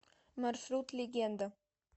маршрут легенда